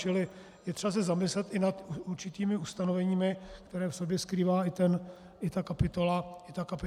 Čili je třeba se zamyslet i nad určitými ustanoveními, která v sobě skrývá i ta kapitola A. Děkuji.